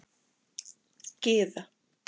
Gyða